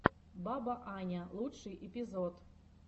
баба аня лучший эпизод